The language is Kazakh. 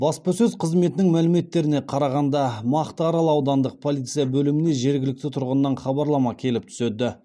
баспасөз қызметінің мәліметтеріне қарағанда мақтаарал аудандық полиция бөліміне жергілікті тұрғыннан хабарлама келіп түседі